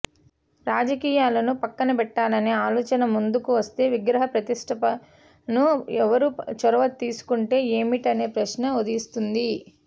రాజకీయాలను పక్కన పెట్టాలనే ఆలోచన ముందుకు వస్తే విగ్రహ ప్రతిష్టాపనకు ఎవరు చొరవ తీసుకుంటే ఏమిటనే ప్రశ్న ఉదయిస్తుంది